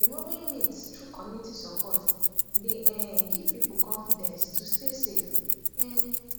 removing myths through community support dey um give people confidence to stay safe um